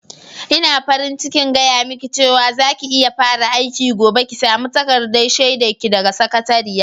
Ina farin cikin gaya miki cewa za ki iya fara aiki gobe, ki sami takardar shaidar ki daga sakatariya.